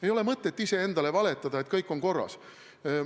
Ei ole mõtet iseendale valetada, et kõik on korras.